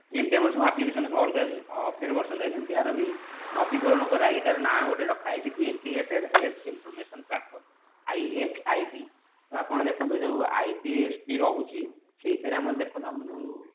ଯେମିତି ଆମର ସବୁ application ର ସବୁ ଅଲଗା update version ଥାଏ ସେମିତି ଆର ବି ନବୀକାରଣ କରାହେଇକି ତାର ନାଁ ଗୋଟେ ରଖା ହେଇଛି integrated health information platform IFID ତ ଆପଣ ଦେଖନ୍ତୁ ଯୋଉ IDSP ରହୁଛି ସେଇଥିରେ ଆପଣ ଦେଖନ୍ତୁ ଆମର ଯୋଉ